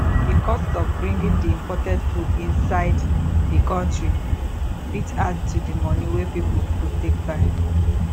di cost of bringing di imported food inside di country fit add to di money wey pipo go take buy